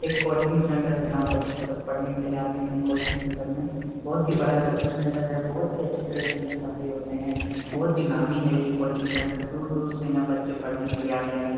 एक coaching centre है जहां पर बच्चे सब पढ़ने के लिए आते हैं कोचिंग सेंटर में बहुत ही बड़ा कोचिंग सेंटर है बहुत ही अच्छी तरह से यहां पढ़ाई होते हैं बहुत ही नामी है ये कोचिंग सेंटर दूर-दूर से यहां बच्चे पढ़ने के लिए आते हैं।